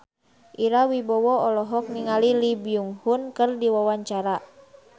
Ira Wibowo olohok ningali Lee Byung Hun keur diwawancara